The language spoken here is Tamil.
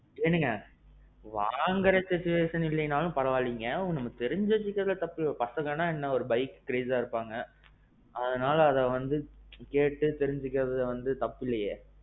ஏனுங்க. வாங்குற situation இல்லேன்னாலும் பரவா இல்லங்க, நம்ம தெரிஞ்சி வச்சுக்குறதுல தப்புல்லப்பா. மத்தவங்கனா என்ன bike crazeஆ இருப்பாங்க. அதனால அத வந்து கேட்டு தெரிஞ்சுக்குறதுல வந்து தப்பு இல்லியே?